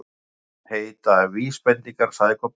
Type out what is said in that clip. Það heita VÍSbendingar, sagði Kobbi.